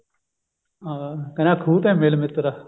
ਹਾਂ ਕਹਿੰਦਾ ਖੂਹ ਤੇ ਮਿਲ ਮਿੱਤਰਾ